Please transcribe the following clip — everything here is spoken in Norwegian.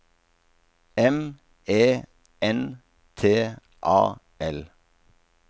M E N T A L